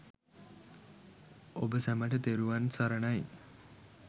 ඔබ සැමට තෙරුවන් සරණයි.